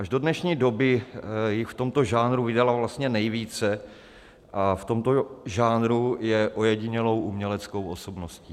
Až do dnešní doby jich v tomto žánru vydala vlastně nejvíce a v tomto žánru je ojedinělou uměleckou osobností.